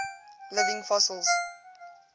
living fossils